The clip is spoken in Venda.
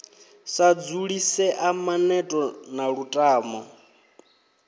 sa dzulisea maneto na lutamo